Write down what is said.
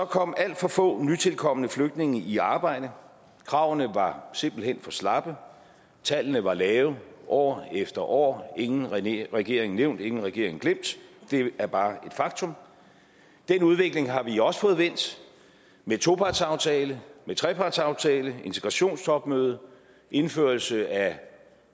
kom alt for få nytilkomne flygtninge i arbejde kravene var simpelt hen for slappe tallene var lave år efter år ingen regering regering nævnt ingen regering glemt det er bare et faktum den udvikling har vi også fået vendt med topartsaftale trepartsaftale integrationstopmøde indførelse af